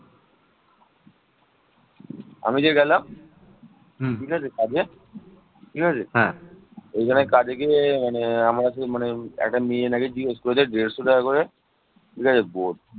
মাটি ও ইট প্রাচীর নির্মাণের জন্য ব্যবহৃত হত